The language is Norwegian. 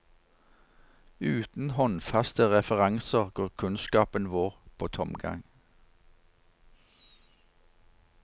Uten håndfaste referanser går kunnskapen vår på tomgang.